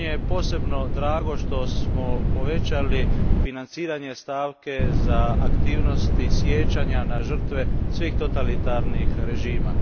Posebno mi je drago što smo povećali financiranje stavke za aktivnosti sijećanja na žrtve svih totalitarnih režima.